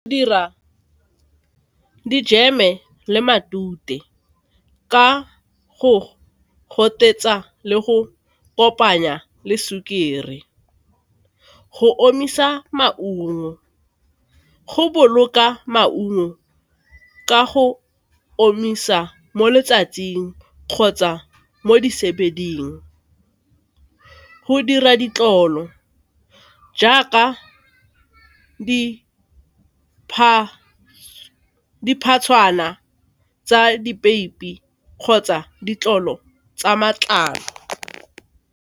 Dira dijeme le matute ka go gotetsa le go kopanya le sukiri. Go omisa maungo go boloka maungo ka go omisa mo letsatsing kgotsa mo di . Go dira ditlolo jaaka tsa dipeipi kgotsa ditlolo tsa matlalo.